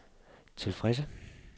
tilfredse